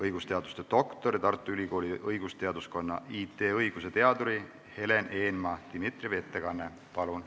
Õigusteaduse doktor, Tartu Ülikooli õigusteaduskonna IT-õiguse teadur Helen Eenmaa-Dimitrieva, palun!